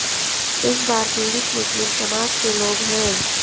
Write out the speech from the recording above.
इस बार पीड़ित मुस्लिम समाज के लोग हैं